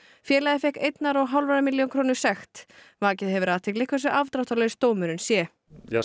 félagið fékk einnar og hálfrar milljónar króna sekt vakið hefur athygli hversu afdráttarlaus dómurinn sé